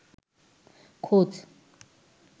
খোঁজ